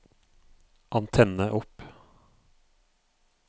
antenne opp